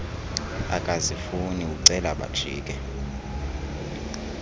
akazifuni ucela bajike